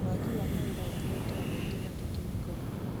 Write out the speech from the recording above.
Wagi wa mawĩra ũtũmĩte andũ aingĩ matuĩke mĩkora